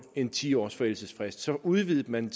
en ti års forældelsesfrist så udvidede man